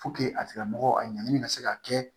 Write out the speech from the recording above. a tigila mɔgɔ a ɲangini ka se ka kɛ